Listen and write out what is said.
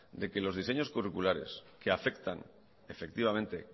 de que los diseños curriculares que afectan